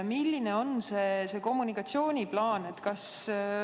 Milline on see kommunikatsiooniplaan?